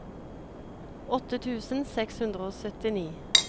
åtte tusen seks hundre og syttini